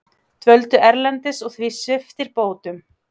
Dvöldu erlendis og því sviptir bótum